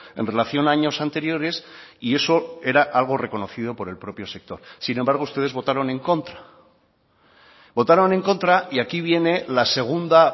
en relación años anteriores y eso era algo reconocido por el propio sector sin embargo ustedes votaron en contra votaron en contra y aquí viene la segunda